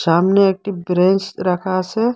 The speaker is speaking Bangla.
সামনে একটি ব্রেস রাখা আসে।